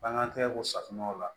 Bangan tɛ ko safunɛw la